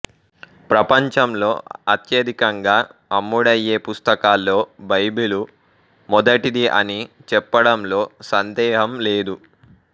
ప్రపంచంలో అత్యధికంగా అమ్ముడయ్యే పుస్తకాల్లో బైబిలు మొదటిది అని చెప్పడంలో సందేహం లేదు